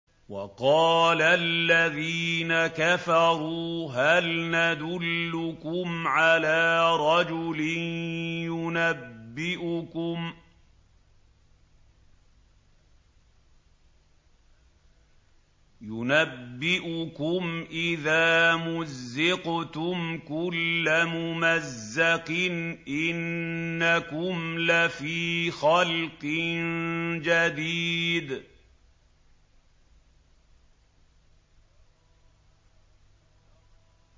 وَقَالَ الَّذِينَ كَفَرُوا هَلْ نَدُلُّكُمْ عَلَىٰ رَجُلٍ يُنَبِّئُكُمْ إِذَا مُزِّقْتُمْ كُلَّ مُمَزَّقٍ إِنَّكُمْ لَفِي خَلْقٍ جَدِيدٍ